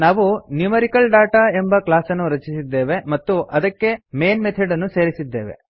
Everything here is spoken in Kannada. ನಾವು ನ್ಯೂಮೆರಿಕಲ್ದಾಟ ಎಂಬ ಕ್ಲಾಸ್ ಅನ್ನು ರಚಿಸಿದ್ದೇವೆ ಮತ್ತು ಇದಕ್ಕೆ ಮೇನ್ ಮೆಥೆಡ್ ಅನ್ನು ಸೇರಿಸಿದ್ದೇವೆ